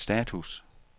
status